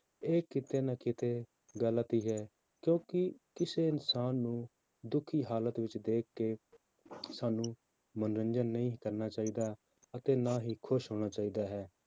ਇਹ ਕਿਤੇ ਨਾ ਕਿਤੇ ਗ਼ਲਤੀ ਹੈ ਕਿਉਂਕਿ ਕਿਸੇ ਇਨਸਾਨ ਨੂੰ ਦੁਖੀ ਹਾਲਤ ਵਿੱਚ ਦੇਖ ਕੇ ਸਾਨੂੰ ਮਨੋਰੰਜਨ ਨਹੀਂ ਕਰਨਾ ਚਾਹੀਦਾ, ਅਤੇ ਨਾ ਹੀ ਖ਼ੁਸ਼ ਹੋਣਾ ਚਾਹੀਦਾ ਹੈ,